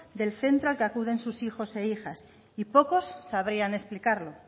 del centro al que acuden sus hijos e hijas y pocos sabrían explicarlo